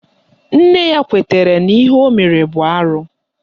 Nne ya kwetara n'ihe o mere bụ arụ